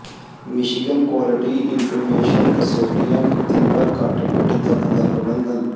Michigan quality improvement consortium ਤੀਬਰ ਘੱਟ ਪਿੱਠ ਦਰਦ ਦਾ ਪ੍ਰਬੰਧਨ